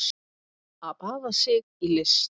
Að baða sig í list